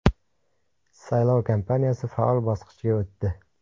Saylov kampaniyasi faol bosqichga o‘tdi.